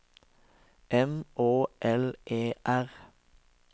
M Å L E R